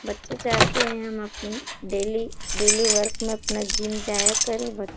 बच्चे चाहते हैं हम अपना डेली डेली वर्क में अपना जिम जाया करें। ब --